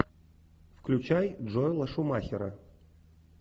включай джоэла шумахера